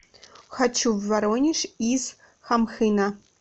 хочу в воронеж из хамхына